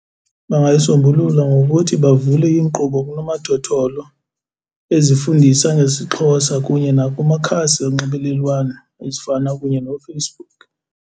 Bangayisombulula ngokuthi bavule iinkqubo kunomathotholo ezifundisa ngesiXhosa kunye nakumakhasi onxibelelwano ezifana kunye noFacebook.